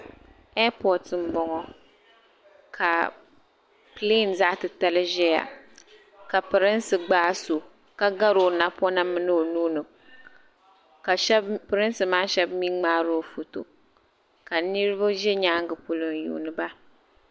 Eipot m bo ŋɔ ka pileem zaɣtitali ʒeya ka pirinsi gbaai so ka ga o napɔna mini o nuhi ka pirinsi maa shɛb mi ŋmaaro foto ka niribi ʒi nyaaŋa polo n yuuni ba.